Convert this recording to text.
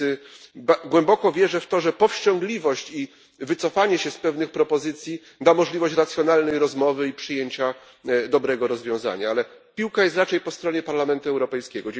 Więc głęboko wierzę w to, że powściągliwość i wycofanie się z pewnych propozycji da możliwość racjonalnej rozmowy i przyjęcia dobrego rozwiązania, ale piłka jest raczej po stronie Parlamentu Europejskiego.